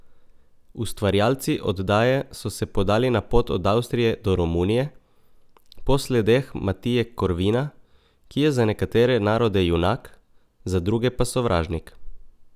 Ustvarjalci oddaje so se podali na pot od Avstrije do Romunije, po sledeh Matije Korvina, ki je za nekatere narode junak, za druge pa sovražnik.